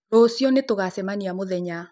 Rũcĩũ nĩtũgacemanĩa mũthenya.